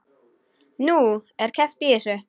Nú, er keppt í þessu?